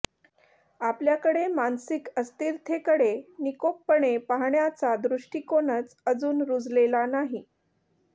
आपल्याकडे मानसिक अस्थिरतेकडे निकोपपणे पाहण्याचा दृष्टीकोनच अजून रुजलेला नाही